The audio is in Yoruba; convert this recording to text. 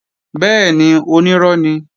Bẹ́ẹ̀ni, onírọ́ ni